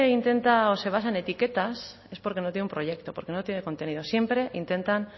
intenta o se basa en etiquetas es porque no tiene un proyecto porque no tiene contenido siempre intentan